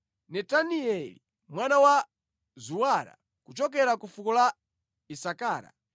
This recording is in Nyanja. Netanieli mwana wa Zuwara, kuchokera ku fuko la Isakara,